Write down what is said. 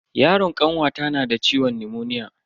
Yaron kanwata nada ciwon nimoniya.